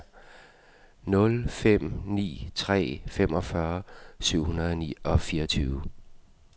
nul fem ni tre femogfyrre syv hundrede og fireogtyve